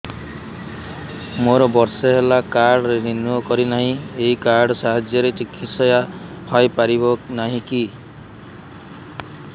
ମୋର ବର୍ଷେ ହେଲା କାର୍ଡ ରିନିଓ କରିନାହିଁ ଏହି କାର୍ଡ ସାହାଯ୍ୟରେ ଚିକିସୟା ହୈ ପାରିବନାହିଁ କି